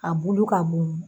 A bulu ka bon